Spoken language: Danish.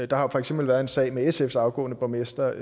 der har for eksempel været en sag med sfs afgående borgmester